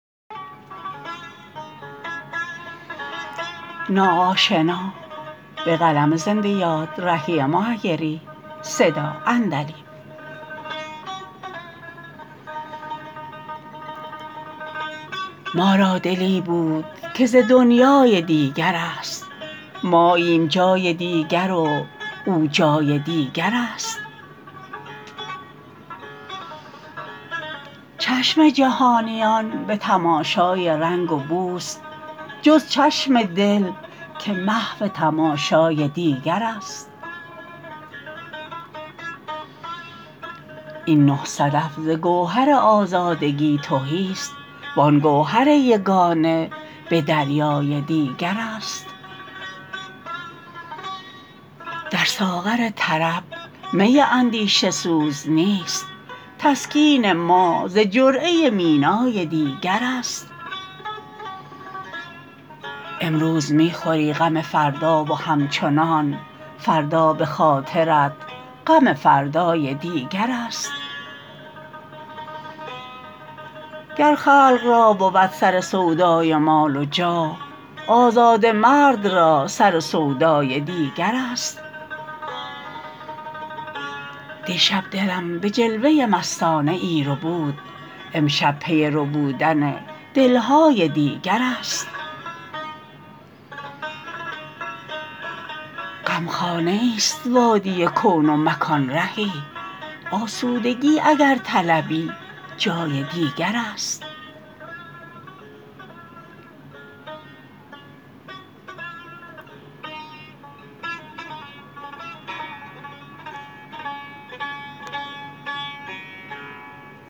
ما را دلی بود که ز دنیای دیگر است ماییم جای دیگر و او جای دیگر است چشم جهانیان به تماشای رنگ و بوست جز چشم دل که محو تماشای دیگر است این نه صدف ز گوهر آزادگی تهی است وآن گوهر یگانه به دریای دیگر است در ساغر طرب می اندیشه سوز نیست تسکین ما ز جرعه مینای دیگر است امروز می خوری غم فردا و همچنان فردا به خاطرت غم فردای دیگر است گر خلق را بود سر سودای مال و جاه آزاده مرد را سر و سودای دیگر است دیشب دلم به جلوه مستانه ای ربود امشب پی ربودن دل های دیگر است غمخانه ای ست وادی کون و مکان رهی آسودگی اگر طلبی جای دیگر است